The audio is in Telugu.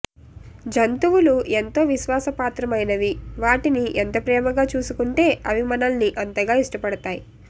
జంతువులూ ఎంతో విశ్వాసపాత్రమైనవి వాటిని ఎంత ప్రేమగా చూసుకుంటే అవి మనల్ని అంతగా ఇష్టపడతాయి